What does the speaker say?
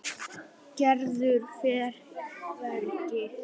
Gerður fer hvergi.